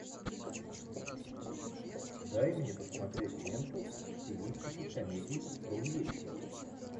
дай мне посмотреть ленту в стилистике комедий про увечья